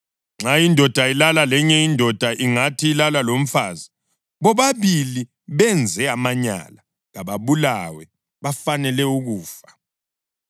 Nxa indoda ilala lenye indoda ingathi ilala lomfazi, bobabili benze amanyala. Kababulawe. Bafanele ukufa.